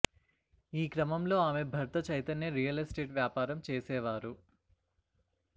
ఈ క్రమంలో ఆమె భర్త చైతన్య రియల్ ఎస్టేట్ వ్యాపారం చేసేవారు